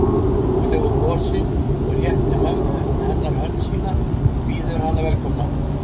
Hann brosir elskulegu brosi og réttir mömmu hennar hönd sína, býður hana velkomna.